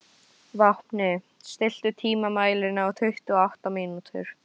Vápni, stilltu tímamælinn á tuttugu og átta mínútur.